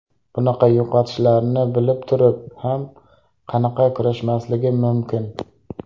Bunaqa yo‘qotishlarni bilib turib ham qanaqa kurashmasligim mumkin?